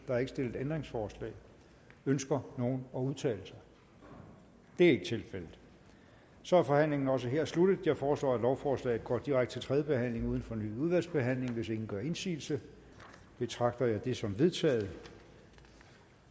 er ikke stillet ændringsforslag ønsker nogen at udtale sig det er ikke tilfældet så er forhandlingen også her sluttet jeg foreslår at lovforslaget går direkte til tredje behandling uden fornyet udvalgsbehandling hvis ingen gør indsigelse betragter jeg det som vedtaget